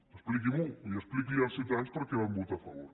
expliqui m’ho i expliqui als ciutadans perquè hi van votar a favor